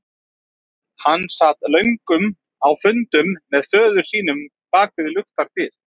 Hann sat löngum á fundum með föður sínum bak við luktar dyr.